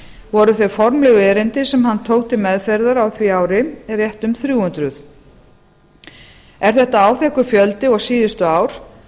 voru þau formlegu erindi sem hann tók til meðferðar á því ári rétt um þrjú hundruð er þetta áþekkur fjöldi og síðustu ár